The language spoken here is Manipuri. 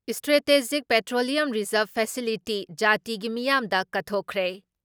ꯏꯁꯇ꯭ꯔꯦꯇꯦꯖꯤꯛ ꯄꯦꯇ꯭ꯔꯣꯂꯤꯌꯝ ꯔꯤꯖꯥꯔꯞ ꯐꯦꯁꯤꯂꯤꯇꯤ ꯖꯥꯇꯤꯒꯤ ꯃꯤꯌꯥꯝꯗ ꯀꯠꯊꯣꯛꯈ꯭ꯔꯦ ꯫